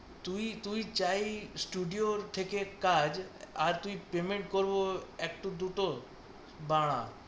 তুই, তুই চাস ষ্টুডিও থেকে কাজ, আর তুই পেমেন্ট করব একটা দুটো বাঃ